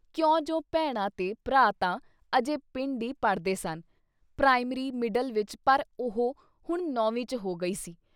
ਕਿਉਂ ਜੋ ਭੈਣਾਂ ਤੇ ਭਰਾ ਤਾਂ ਅਜੇ ਪਿੰਡ ਈ ਪੜ੍ਹਦੇ ਸਨ, ਪ੍ਰਾਇਮਰੀ, ਮਿਡਲ ਵਿੱਚ ਪਰ ਉਹ ਹੁਣ ਨੌਵੀਂ ਚ ਹੋ ਗਈ ਸੀ ।